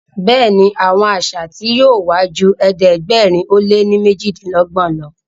Béèni Àwọn àṣà tí yóò wá jù ẹ̀ẹ́dẹ̀gbẹ̀rin o lẹ ní mejidinlogbon ló.